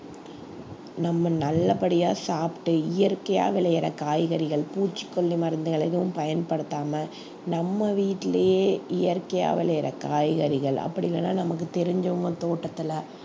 நம்ம நல்லபடியா சாப்பிட்டு இயற்கையா விளையிற காய்கறிகள் பூச்சிக்கொல்லி மருந்துகள் எதுவும் பயன்படுத்தாம நம்ம வீட்டிலேயே இயற்கையா விளையிற காய்கறிகள் அப்படி இல்லைன்னா நமக்கு தெரிஞ்சவங்க தோட்டத்துல